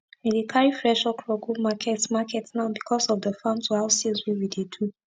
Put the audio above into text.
we dey carri fresh okro go market market now becos of the farm to house sales wey we dey do